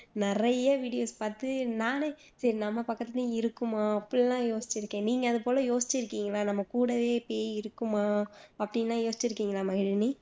நிறைய பாத்து நானே சரி நம்ம பக்கத்துலையும் இருக்குமா அப்படியெல்லாம் யோசிச்சுக்கேன் நீங்க அது போல யோசிச்சுருக்கீங்களா நம்ம கூடவே பேய் இருக்குமா அப்படியெல்லாம் யோசிச்சுருக்கீங்களா மகிழினி